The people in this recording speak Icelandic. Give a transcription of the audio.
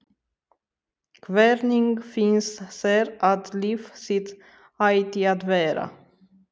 Hvernig finnst þér að líf þitt ætti að vera?